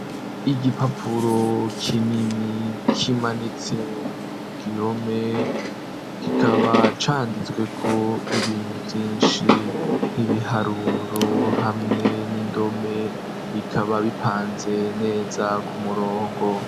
Igipapuro kinini, kimanitse ku gihome kikaba canditswe ko ibintu vyinshi nk'ibiharuro, hamwe n'indome, bikaba bipanze neza ku murongo.